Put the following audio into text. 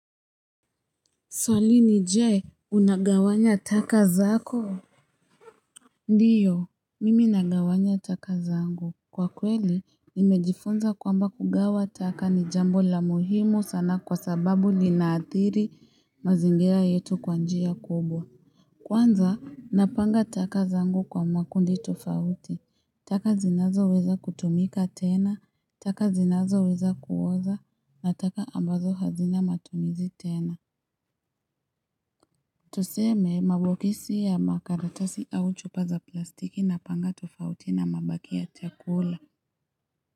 Swali ni Jee, unagawanya taka zako? Ndiyo, mimi nagawanya taka zangu. Kwa kweli, nimejifunza kwamba kugawa taka ni jambo la muhimu sana kwa sababu linaathiri mazingira yetu kwa njia kubwa. Kwanza, napanga taka zangu kwa mwakundi tofauti, taka zinazoweza kutumika tena, taka zinazoweza kuoza, na taka ambazo hazina matumizi tena. Tuseme mabokisi ya makaratasi au chupa za plastiki napanga tofauti na mabaki ya chakula.